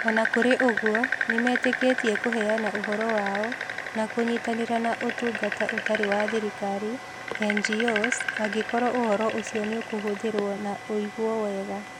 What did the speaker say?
O na kũrĩ ũguo, nĩ metĩkĩtie kũheana ũhoro wao na kũnyitanĩra na Ũtungata Ũtarĩ wa Thirikari (NGOs), angĩkorũo ũhoro ũcio nĩũkũhũthĩrũo na ũigwo wega.